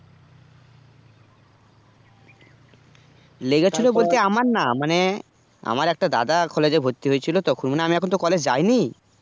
লেগেছিলো বলতে আমার না মানে আমার একটা দাদা collage এ ভর্তি হয়েছিল তখন আমি এখন তো collage যায়নি